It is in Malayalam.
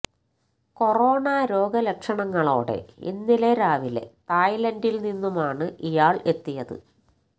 കൊറോണ രോഗലക്ഷണങ്ങളോടെ ഇന്നലെ രാവിലെ തായ് ലാന്ഡില് നിന്നുമാണ് ഇയാള് എത്തിയത്